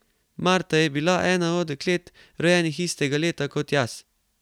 Marta je bila ena od deklet, rojenih istega leta kot jaz.